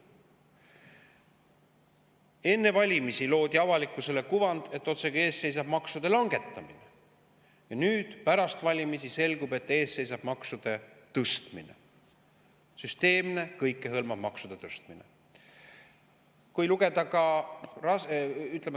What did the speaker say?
Enne valimisi loodi avalikkusele kuvand, otsekui ees seisaks maksude langetamine, ja nüüd pärast valimisi selgus, et ees seisab maksude tõstmine, süsteemne kõikehõlmav maksude tõstmine.